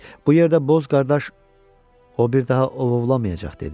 Bu yerdə boz qardaş, o bir daha ovovlamayacaq, dedi.